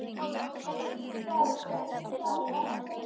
Eitthvað um það að segja?